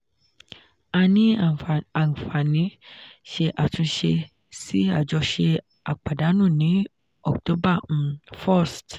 a ní àǵfààní ṣe àtúnṣe sí àjọṣe àpàdánù ní october um 1st.